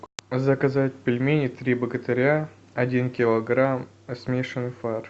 заказать пельмени три богатыря один килограмм смешанный фарш